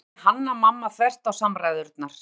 galaði Hanna-Mamma þvert á samræðurnar.